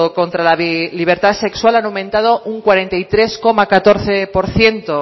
contra la libertad sexual han aumentado un cuarenta y tres coma catorce por ciento